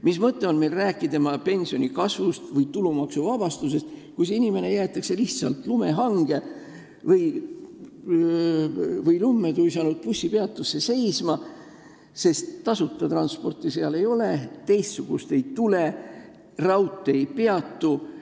Mis mõte on meil rääkida pensioni kasvust või tulumaksuvabastusest, kui inimene jäetakse lihtsalt lumme tuisanud bussipeatusse seisma, sest tasuta transporti seal ei ole ja ka teistsugust ei tule, ning rong ei peatu.